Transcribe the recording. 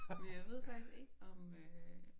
Jeg ved faktisk ikke om øh